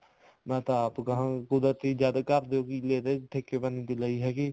ਮੈਂ ਤਾਂ ਆਪ ਗਹਾਂ ਕੁਦਰਤੀ ਜਦ ਘਰ ਦੇ ਕਿੱਲੇ ਤੇ ਠੇਕੇ ਪਾ ਨੀ ਲਈ ਹੈਗੀ